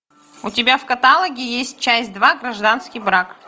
у тебя в каталоге есть часть два гражданский брак